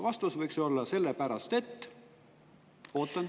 Vastus võiks olla: "Sellepärast et …" Ootan.